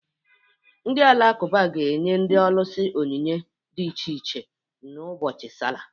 Ndị alakụba ga-enye ndị ọlụsị onyinye dị iche iche n'ụbọchị Salla.